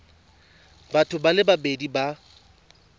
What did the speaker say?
batho ba le babedi ba